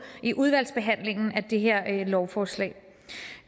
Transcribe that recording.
i udvalgsbehandlingen af det her lovforslag